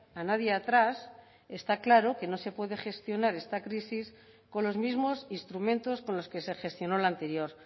a nadie atrás está claro que no se puede gestionar esta crisis con los mismos instrumentos con los que se gestionó la anterior